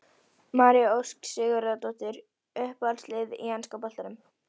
María Ósk Sigurðardóttir Uppáhalds lið í enska boltanum?